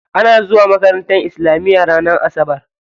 Ana zuwa makaranta islamiya ranar asabar.